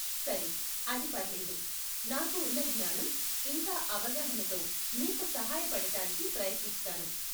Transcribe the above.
సరే, అది పర్లేదు. నాకు ఉన్న జ్ఞానం, ఇంకా అవగాహనతో మీకు సహాయపడటానికి ప్రయత్నిస్తాను.